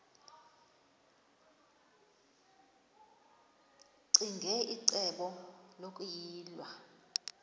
ccinge icebo lokuyilwa